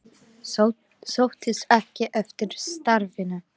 Sóttist ekki eftir starfinu